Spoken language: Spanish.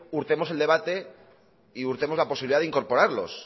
hurtemos el debate y hurtemos la posibilidad de incorporarlos